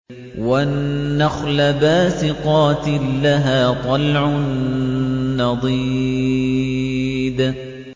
وَالنَّخْلَ بَاسِقَاتٍ لَّهَا طَلْعٌ نَّضِيدٌ